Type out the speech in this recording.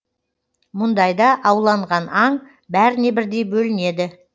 мұндайда ауланған аң бәріне бірдей бөлінеді